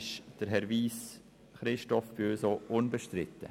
Bei der vierten Wahl ist Herr Christoph Wyss auch bei uns unbestritten.